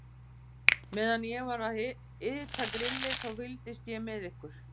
Meðan ég var að hita grillið, þá fylgdist ég með ykkur.